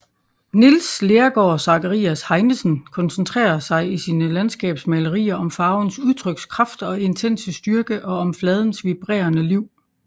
Niels Lergaard Zacharias Heinesen koncentrer sig i sine landskabsmalerier om farvens udtrykskraft og intense styrke og om fladens vibrerende liv